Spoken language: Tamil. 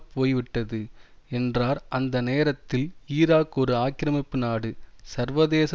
போய்விட்டது என்றார் அந்த நேரத்தில் ஈராக் ஒரு ஆக்கிரமிப்பு நாடு சர்வதேச